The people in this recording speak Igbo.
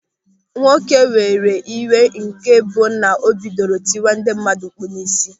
Nwoke were iwe nke bụ na o bidoro tiwe ndị mmadụ mkpụ̀ n'isi.